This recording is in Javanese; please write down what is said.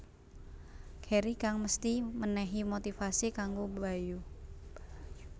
Heri kang mesthi mènèhi motivasi kanggo Bayu